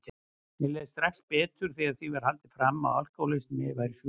Mér leið strax betur þegar því var haldið fram að alkohólismi væri sjúkdómur.